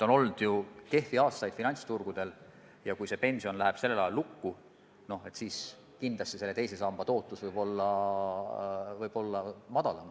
On ju ka kehvi aastaid finantsturgudel olnud ja kui pension läheb sellisel ajal lukku, siis kindlasti võib teise samba tootlus väiksem olla.